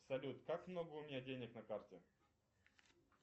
салют как много у меня денег на карте